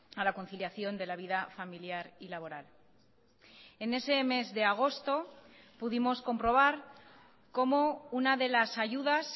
a la conciliación de la vida familiar y laboral en ese mes de agosto pudimos comprobar cómo una de las ayudas